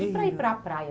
E e para ir para a praia?